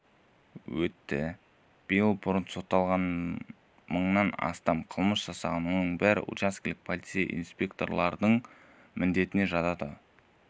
өтті биыл бұрын сотталғандар мыңнан астам қылмыс жасаған осының бәрі учаскелік полицей инспекторлардың міндетіне жатады